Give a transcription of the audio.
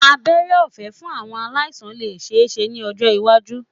Abẹ́rẹ́ ọ̀fé fún àwọn aláìsàn lè ṣeéṣe ní ọjọ́ iwájú